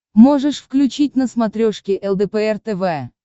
можешь включить на смотрешке лдпр тв